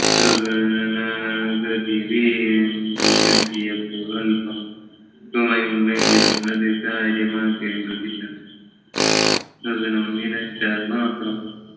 ഗതി വേണ്ടു വറ്റിയപ്പോൾ അല്പം സമയമെങ്കില് അത് കാര്യമാക്കേണ്ടതില്ല ഗഗനം നിലച്ചാൽ മാത്രം